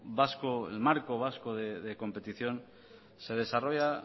vasco el marco vasco de competición se desarrolla